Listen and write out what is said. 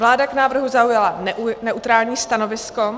Vláda k návrhu zaujala neutrální stanovisko.